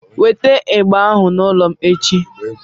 Weta igba ahu n'ụlọ m echi!